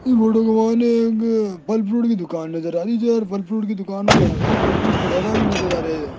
good morning फल fruit की दुकान नज़र आ रही है जो यार फल फ्रूट की दुकान मे खड़ा है फल फ्रूट पड़े हुए भी नज़र आ रहे --